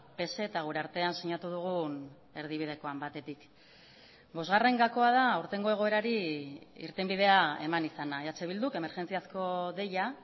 pse eta gure artean sinatu dugun erdibidekoan batetik bosgarren gakoa da aurtengo egoerari irtenbidea eman izana eh bilduk emergentziazko deia